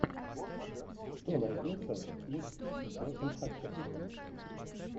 что найдется из с джошем хатчерсоном